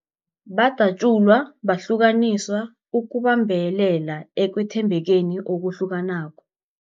Badatjulwa, bahlukaniswa ukubambelela ekwethembekeni okuhlukanako.